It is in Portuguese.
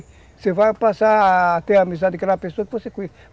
Você vai passar a ter amizade com aquela pessoa que você